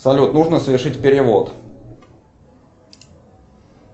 салют нужно совершить перевод